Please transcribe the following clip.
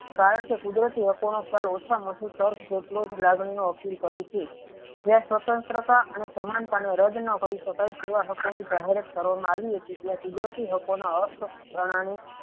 કારણકે કુદરતી હકો નો ખ્યાલ ઓછામાં ઓછી તર્ક જેટલો જ લાગણી નો અપીલ કરે છે જતા સ્વતંત્રતા અને સમાનતા નો રદ ના કરી શકાય તેવા હકો ની જાહેરાત કરવામાં આવી હતી ત્યાં કુદરતી હકો ની અસપષ્ટ કારણે